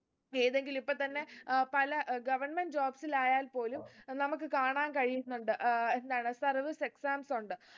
ഏതെങ്കിലു ഇപ്പൊ തന്നെ ഏർ പല ഏർ government jobs ൽ ആയാൽ പോലും ഏർ നമുക്ക് കാണാൻ കഴിയുന്നുണ്ട് ഏർ എന്താണ് service exams ഉണ്ട്